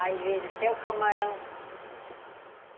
Às vezes até o camarão.